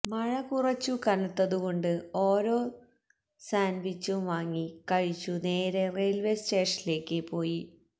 മഴ കുറച്ചു കനത്തതുകൊണ്ട് ഓരോ സാന്റുവിച്ചും വാങ്ങി കഴിച്ചു നേരെ റെയിൽവേ സ്റ്റേഷനിലേക്ക് പോയി